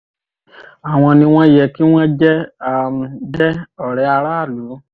àwọn ni wọ́n yẹ kí wọ́n jẹ́ um jẹ́ um ọ̀rẹ́ aráàlú